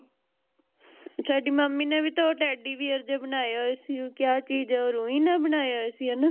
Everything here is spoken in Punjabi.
ਸਾਡੀ ਮੰਮੀ ਨੇ ਵੀ ਤਾ ਉਹ Teddybear ਜੇ ਬਣਾਇਆ ਹੋਇਆ ਉਹ ਕਯਾ ਚੀਜ਼ ਆ ਰੂਈ ਨਾਲ ਬਣਾਇਆ ਹੋਇਆ ਸੀ ਹੇਨਾ